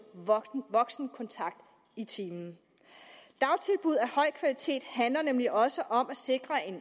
voksenkontakt i timen dagtilbud af høj kvalitet handler nemlig også om at sikre en